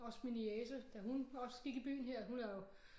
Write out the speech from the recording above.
Også min niece da hun også gik i byen her hun er jo